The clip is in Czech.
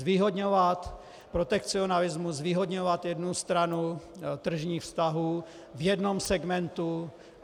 Zvýhodňovat protekcionalismus, zvýhodňovat jednu stranu tržních vztahů v jednom segmentu.